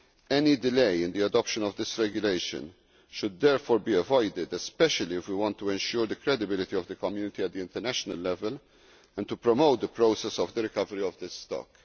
Any delay in the adoption of this regulation should, therefore, be avoided, especially if we want to ensure the credibility of the Community at international level and to promote the process of the recovery of this stock.